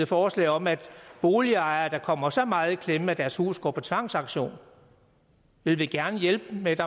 forslag om at boligejere der kommer så meget i klemme at deres hus går på tvangsauktion vil vi gerne hjælpe med et